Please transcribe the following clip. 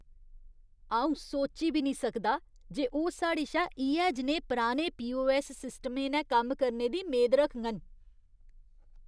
अ'ऊ सोची बी निं सकदा जे ओह् साढ़े शा इ'यै जनेहे पराने पीओऐस्स सिस्टमें नै कम्म करने दी मेद रखङन।